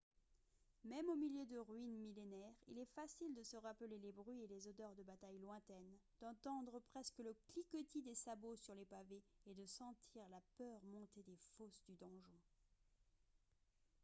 même au milieu de ruines millénaires il est facile de se rappeler les bruits et les odeurs de batailles lointaines d'entendre presque le cliquetis des sabots sur les pavés et de sentir la peur monter des fosses du donjon